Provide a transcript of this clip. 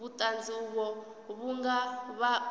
vhuṱanzi uvho vhu nga vha